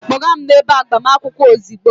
Kpọga m n'ebe agbamakwụkwọ ozugbo!